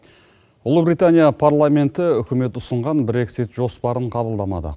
ұлыбритания парламенті үкімет ұсынған брексит жоспарын қабылдамады